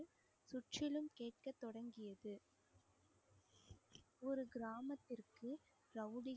கிராமத்திற்கு ரவுடிகள்